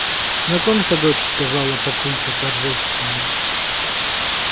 знакомься дочь сказала папулька торжественно